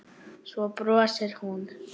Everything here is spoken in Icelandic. Svo brosir hún.